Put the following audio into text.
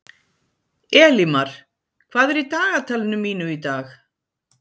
Elímar, hvað er í dagatalinu mínu í dag?